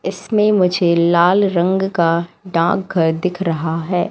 इसमें मुझे लाल रंग का डाक घर दिख रहा है।